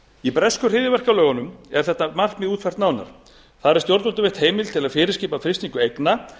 í bresku hryðjuverkalögunum er þetta markmið útfært nánar þar er stjórnvöldum veitt heimild til að fyrirskipa frystingu eigna